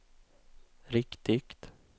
riktigt